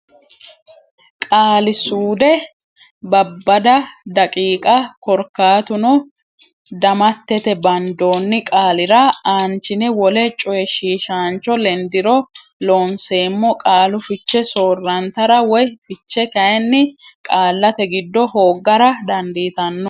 Qaali suude Babbada daqiiqa Korkaatuno damattete bandoonni qaalira aanchine wole coyishshiishaancho lendiro Looseemmo qaalu fiche soorrantarara woy fiche kayinni qaallate giddo hooggara dandiitanno.